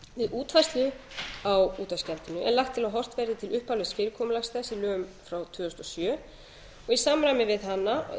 útfærslu á útvarpsgjaldinu er lagt til að horft verði til upphaflega fyrirkomulags þess í lögum frá tvö þúsund og sjö og í samræmi